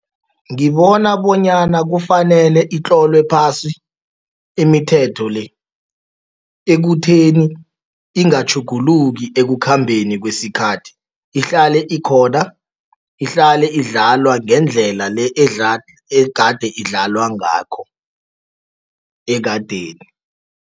Ngibona bonyana kufanele itlolwe phasi imithetho le ekutheni ingatjhuguluki ekukhambeni kwesikhathi. Ihlale ikhona, ihlale idlalwa ngendlela le egade idlalwa ngakho ekadeni.